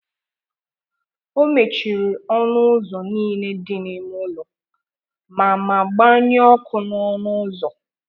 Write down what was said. Ọ mechiri ọnụ ụzọ niile dị n’ime ụlọ ma ma gbanyụọ ọkụ n’ọnụ ụzọ.